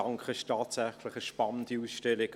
Das ist tatsächlich eine spannende Ausstellung;